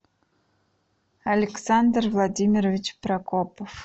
александр владимирович прокопов